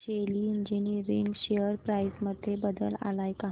शेली engineering share price मध्ये बदल आलाय का